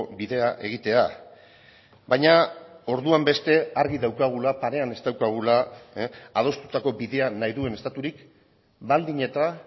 bidea egitea baina orduan beste argi daukagula parean ez daukagula adostutako bidea nahi duen estaturik baldin eta